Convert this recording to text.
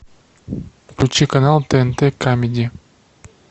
включи канал тнт камеди